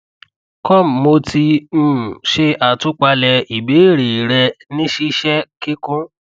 com mo ti um ṣe àtúpalẹ ìbéèrè rẹ ní ṣíṣe kíkún